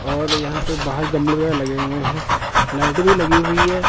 और यहां पे बाहर गमले लगे हुए हैं लाइट भी लगी हुई है।